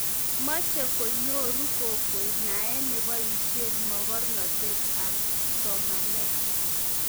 moch konyoru kokwee nae neboisien mokornotee am somanee